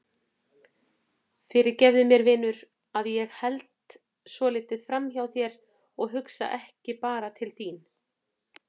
Fyrirgefðu mér vinur að ég held svolítið framhjá þér og hugsa ekki bara til þín.